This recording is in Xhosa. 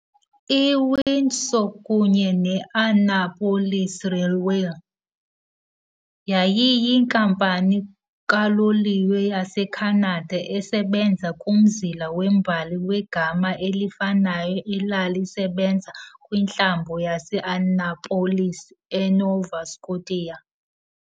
I-Windsor kunye ne-Annapolis Railway yayiyinkampani kaloliwe yaseKhanada esebenza kumzila wembali wegama elifanayo elalisebenza kwiNtlambo yase-Annapolis, eNova Scotia.